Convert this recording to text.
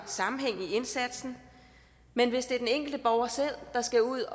sammenhæng i indsatsen men hvis det er den enkelte borger selv der skal ud